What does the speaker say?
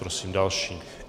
Prosím další.